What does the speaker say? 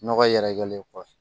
Nɔgɔ yɛrɛkɛlen kɔfɛ